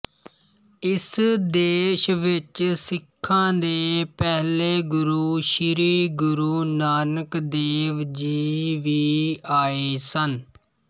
ਇਸ ਦੇਸ਼ ਵਿੱਚ ਸਿੱਖਾਂ ਦੇ ਪਹਿਲੇ ਗੁਰੂ ਸ੍ਰੀ ਗੁਰੂ ਨਾਨਕ ਦੇਵ ਜੀ ਵੀ ਆਏ ਸਨ